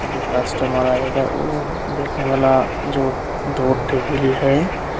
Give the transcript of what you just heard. जो कस्टमर आएगा वो बैठने वाला जो दो टेबिल है।